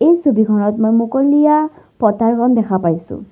এই ছবিখনত মই মুকলিয়া পথাৰখন দেখা পাইছোঁ।